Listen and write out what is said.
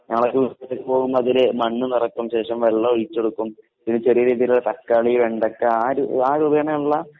ഞങ്ങളൊക്കെ പോകുമ്പോ അതില് മണ്ണ് നിറയ്ക്കും അതിനുശേഷം വെള്ളം ഒഴിച്ചു കൊടുക്കും പിന്നെ ചെറിയ രീതിയിലുള്ള തക്കാളി, വെണ്ടയ്ക്ക ആ ഒരു ആ രൂപേണയുള്ള